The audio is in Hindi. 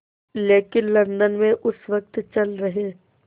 लेकिन लंदन में उस वक़्त चल रहे